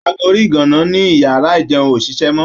Ago orí ìgàǹǹá ní iyàrá ìjeun ò ṣiṣẹ́ mọ́.